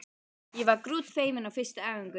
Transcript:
Ég var grútfeimin á fyrstu æfingunni.